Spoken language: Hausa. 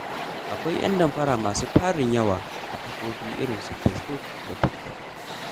Akwai ƴan damfara masu tarin yawa a kafofi irin su Facebook da Tiktok.